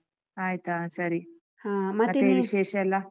ಆಯ್ತಾ ಆ ಸರಿ .